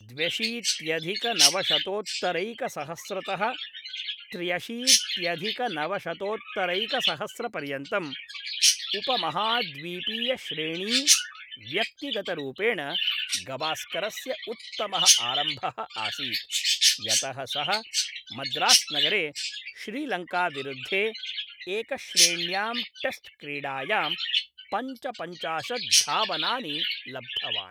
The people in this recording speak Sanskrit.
द्व्यशीत्यधिकनवशतोत्तरैकसहस्रतः त्र्यशीत्यधिकनवशतोत्तरैकसहस्रपर्यन्तम् उपमहाद्वीपीयश्रेणी व्यक्तिगतरूपेण गवास्करस्य उत्तमः आरम्भः आसीत्, यतः सः मद्रास्नगरे श्रीलङ्काविरुद्धे एकश्रेण्यां टेस्ट्क्रीडायां पञ्चपञ्चाशत् धावनानि लब्धवान्।